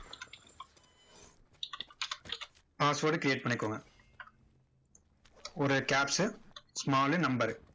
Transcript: password create பண்ணிக்கோங்க ஒரு caps small number உ